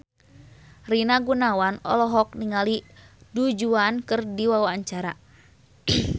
Rina Gunawan olohok ningali Du Juan keur diwawancara